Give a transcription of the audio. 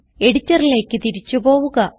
എഡിറ്ററിലേക്ക് തിരിച്ചു പോവുക